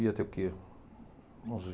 ter o que, uns